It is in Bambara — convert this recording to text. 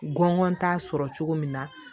Gɔngɔn t'a sɔrɔ cogo min na